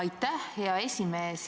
Aitäh, hea esimees!